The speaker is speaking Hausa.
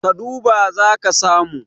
ka duba za ka samu